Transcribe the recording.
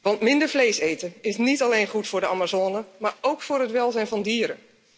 Want minder vlees eten is niet alleen goed voor de Amazone, maar ook voor het welzijn van dieren.